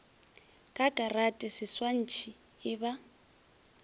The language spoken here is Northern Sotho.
ka karate seswantšhi e ba